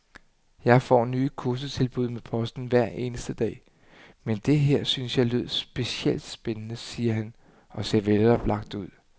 Jeg får nye kursustilbud med posten hver eneste dag, men det her syntes jeg lød specielt spændende, siger han og ser veloplagt ud.